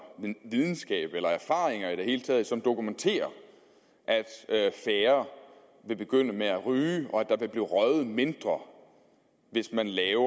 videnskab eller erfaringer i det hele taget som dokumenterer at færre vil begynde at ryge og at der vil blive røget mindre hvis man laver